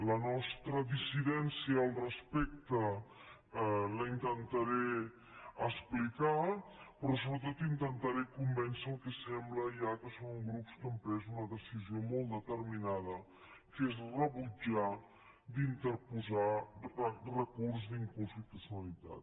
la nostra dissidència al respecte la intentaré explicar però sobretot intentaré convèncer el que sembla ja que són grups que han pres una posició molt determinada que és rebutjar d’interposar recurs d’inconstitucionalitat